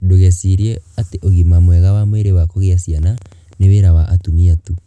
Ndũgecirie atĩ ũgima mwega wa mwĩrĩ wa kugĩa ciana nĩ wĩra wa atumia tu.